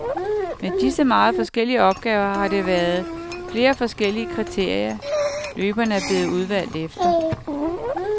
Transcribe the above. Med disse meget forskellige opgaver har der været flere forskellige kriterier, løberne er blevet udvalgt efter.